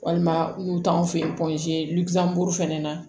Walima n'u t'anw fɛ yen lujura fɛnɛ na